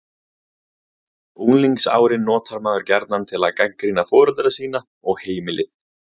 Unglingsárin notar maður gjarnan til að gagnrýna foreldra sína og heimili.